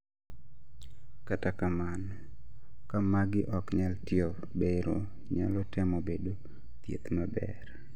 Kata kamano ka magi ok nyal tiyo bero nyalo temo bedo thieth maber